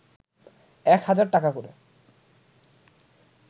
এক হাজার টাকা করে